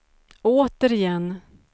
återigen